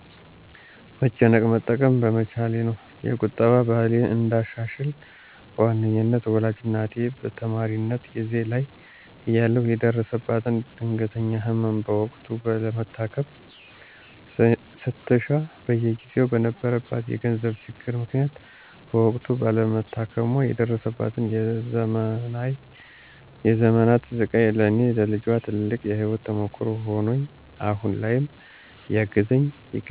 መጨነቅ መጠቀም በመቻሌ ነው። የቁጠባ ባህሌን እንዳሻሽል በዋናነት ወላጅ እናቴ በተማሪነት ጊዜየ ላይ እያለሁ የደረሰባትን ድንገተኛ ህመም በወቅቱ ለመታከም ስትሻ በጊዜው በነበረባት የገንዘብ ችግር ምክንያት በወቅቱ ባለመታከሟ የደረሰባት የዘመናት ስቃይ ለኔ ለልጇ ትልቅ የህይወት ተሞክሮ ሆኖኝ አሁን ላይም እያገዘኝ ይገኛል።